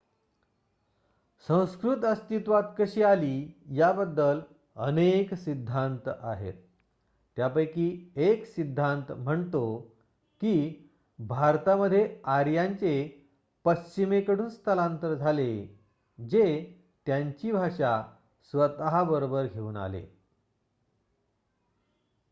संस्कृत अस्तित्वात कशी आली याबाबदल अनेक सिद्धांत आहेत. त्यांपैकी १ सिद्धांत म्हणतो की भारतामध्ये आर्यांचे पश्चिमेकडून स्थलांतर झाले जे त्यांची भाषा स्वतःबरोबर घेऊन आले